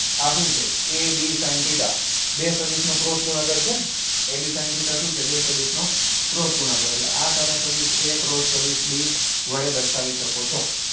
આ શું છે a b sin theta બે સદિશનું ક્રોસ ગુણાકાર છે a b sin theta શું છે બે સદિશ નો ક્રોસ ગુણાકાર એટલે આના સદીશ a cross સદિશ b વડે દર્શાવી શકો છો